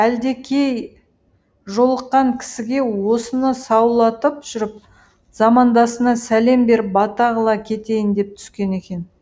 әлдекей жолыққан кісіге осыны саулатып жүріп замандасына сәлем беріп бата қыла кетейін деп түскен екен